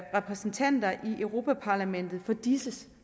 repræsentanter i europa parlamentet for disses